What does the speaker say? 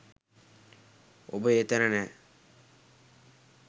ඔබ ඒ තැන නෑ.